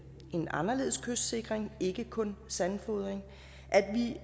en anderledes kystsikring ikke kun sandfodring at vi